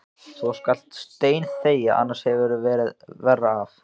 Og þú skalt steinþegja, annars hefurðu verra af.